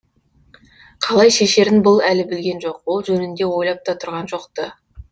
қалай шешерін бұл әлі білген жоқ ол жөнінде ойлап та тұрған жоқ ты